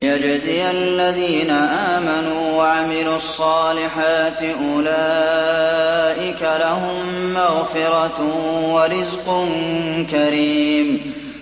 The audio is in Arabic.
لِّيَجْزِيَ الَّذِينَ آمَنُوا وَعَمِلُوا الصَّالِحَاتِ ۚ أُولَٰئِكَ لَهُم مَّغْفِرَةٌ وَرِزْقٌ كَرِيمٌ